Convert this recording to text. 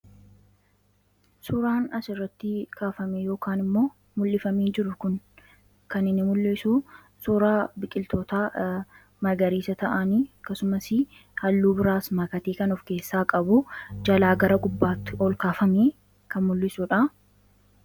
suuraan asirratti kaafamee yookaan immoo mul'ifamee jiru kun kan inni mul'isu suuraa biqiltoota magariisa ta'anii akkasumas halluu biraas maakatee kan of keessaa qabu jalaa gara gubbaatti ol kaafamanii kan mul'isuudha.